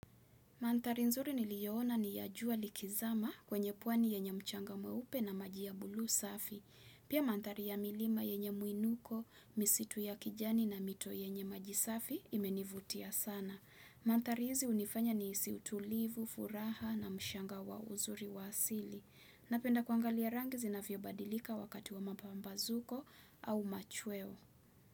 Mantari nzuri niliyoona ni ya jua likizama kwenye pwani yenye mchanga mweupe na maji ya bulu safi. Pia mantari ya milima yenye mwinuko, misitu ya kijani na mito yenye maji safi imenivutia sana. Mantari hizi unifanya nihisi utulivu, furaha na mchanga wa uzuri wa asili. Napenda kuangalia rangi zinavyo badilika wakati wa mapambazuko au machweo.